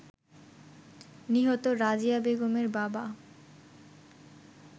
নিহত রাজিয়া বেগমের বাবা